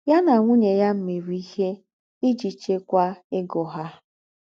Yà nà ńwùnyè yà mèrè íhe íjì chékwàá égó hà.